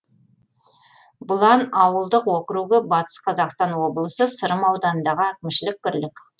бұлан ауылдық округі батыс қазақстан облысы сырым ауданындағы әкімшілік бірлік